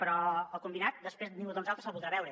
però el combinat després ningú de nosaltres se’l voldrà beure